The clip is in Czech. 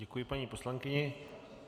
Děkuji paní poslankyni.